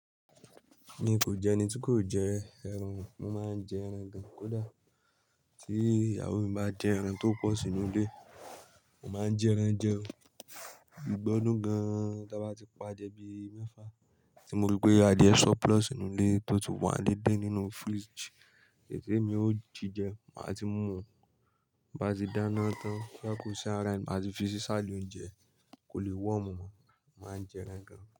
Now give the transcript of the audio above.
Mi kò jẹ́ ẹni tí kò jẹ ẹran, mo máa ń jẹ ẹran gan. Kódà tí ìyàwó mi bá jẹ ẹran tó pọ̀ sínú ilé, mo máa ń ji ẹran jẹ ó. Igba odun gan, tí a bá ti pa adiẹ bí mẹ́fà tí mo rí pé adie Surplus nínú ilé tó tii wá dindun nínú fíríjì, èyì ti emi ó jí jẹ, màá ti mú un. Bí a ti dáná tán kí a kó sí ara ẹ̀yìn, màá fi si sàálú oúnjẹ, kò lè wọ̀ mọ́, màá jẹ ẹran gan.